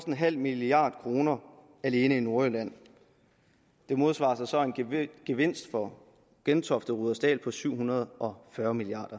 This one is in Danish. en halv milliard kroner alene i nordjylland det modsvares så af en gevinst for gentofte og rudersdal på syv hundrede og fyrre milliard